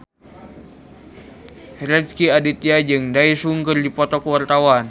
Rezky Aditya jeung Daesung keur dipoto ku wartawan